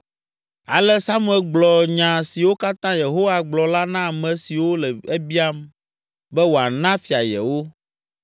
Ale Samuel gblɔ nya siwo katã Yehowa gblɔ la na ame siwo le ebiam be wòana fia yewo.